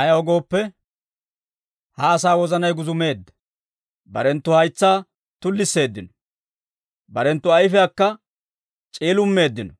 Ayaw gooppe, ha asaa wozanay guzumeedda; barenttu haytsaa tullisseeddino; barenttu ayifiyaakka c'iilummeeddino.